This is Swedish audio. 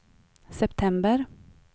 september